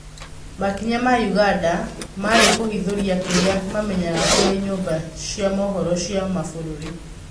Makinya ma ũganda marĩ kũhithũrĩa kĩrĩa mamenyaga kũrĩ nyũmba cĩa mohoro cia mabũrũri.